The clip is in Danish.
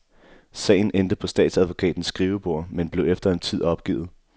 Sagen endte på statsadvokatens skrivebord, men blev efter en tid opgivet.